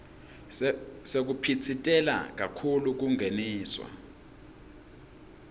sekuphitsitela kakhulu kungeniswa